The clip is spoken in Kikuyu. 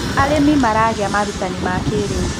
arĩmi maragia marutanĩ ma kĩiriu